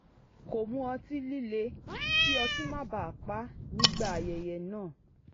kò mu ọtí líle kí ọtí má baà pá nígbà aye̩ye̩ náà